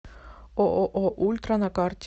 ооо ультра на карте